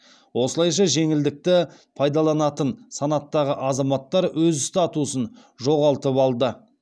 осылайша жеңілдікті пайдаланатын санаттағы азаматтар өз статусын жоғалтып алды